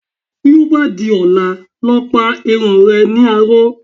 Bí ó bá di ọ̀la, lọ pa irun re ní aró.